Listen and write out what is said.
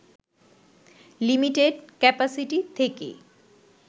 limited capacity থেকে